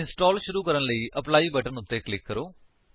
install ਸ਼ੁਰੂ ਕਰਨ ਲਈ ਐਪਲੀ ਬਟਨ ਉੱਤੇ ਕਲਿਕ ਕਰੋ